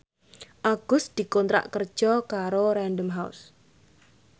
Agus dikontrak kerja karo Random House